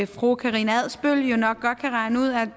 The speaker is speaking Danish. fru karina adsbøl jo nok godt kan regne ud at